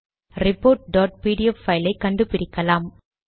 report dot PDF file ஐ கண்டு பிடிக்கலாம்